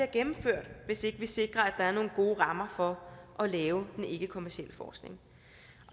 gennemført hvis ikke vi sikrer at der er nogle gode rammer for at lave den ikkekommercielle forskning